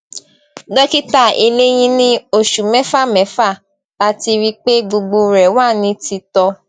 dókítà eléyín ní oṣù mẹfà mẹfà láti rí i pé gbogbo rẹ wà ní titọ